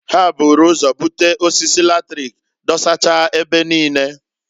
Ha buru ụzọ bute osisi latrik dosacha ebe niine.